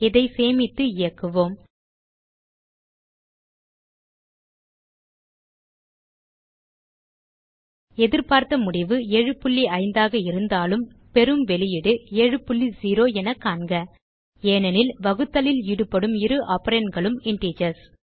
இதை சேமித்து இயக்குவோம் எதிர்பார்த்த முடிவு 75 ஆக இருந்தாலும் பெறும் வெளியீடு 70 என காண்க ஏனெனில் வகுத்தலில் ஈடுபடும் இரு operandகளும் இன்டிஜர்ஸ்